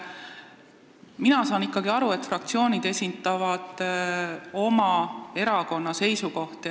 Mina saan aru, et fraktsioonid esitavad siiski oma erakonna seisukohti.